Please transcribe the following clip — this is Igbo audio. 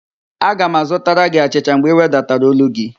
Aga m azụtara gị achịcha mgbe ị wedatara ólú gị